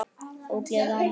Ógleði og annað.